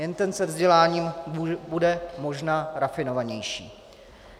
Jen ten se vzděláním bude možná rafinovanější.